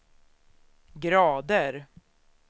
grader